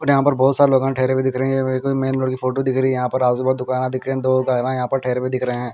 और यहाँ पर बोहोत सारे लोगा ठहरे हुए दिख रहे है फोटो दिख रही है यहाँ पर और आजुबाजु दुकाना दिख रहे है दो गाड़िया यहाँ पर ठहरे हुए दिखाई दे रहे है.